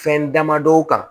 Fɛn damadɔw kan